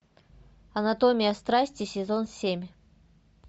анатомия страсти сезон семь